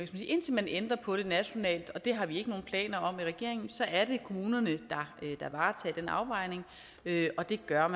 indtil man ændrer på det nationalt og det har vi ikke nogen planer om i regeringen så er det kommunerne der tager den afvejning og det gør